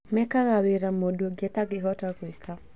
Mekaga wira mũndũ ũngĩ atangĩhota gwĩka